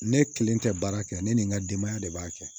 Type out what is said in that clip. Ne kelen tɛ baara kɛ ne ni n ka denbaya de b'a kɛ